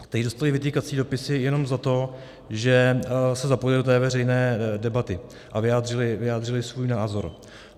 Kteří dostali vytýkací dopisy jenom za to, že se zapojili do té veřejné debaty a vyjádřili svůj názor.